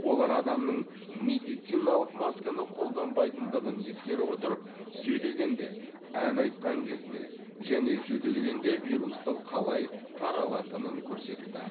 олар адамның медициналық масканы қолданбайтындығын ескере отырып сөйлегенде ән айтқан кезде және жөтелгенде вирустың қалай таралатынын көрсетті